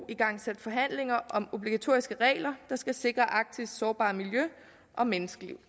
igangsat forhandlinger om obligatoriske regler der skal sikre arktis sårbare miljø og menneskeliv